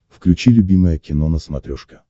включи любимое кино на смотрешке